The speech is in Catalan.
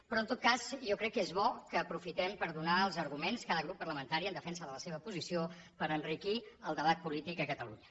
però en tot cas jo crec que és bo que aprofitem per donar els arguments cada grup parlamentari en defensa de la seva posició per enriquir el debat polític a catalunya